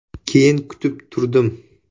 Keyin kutib turdim.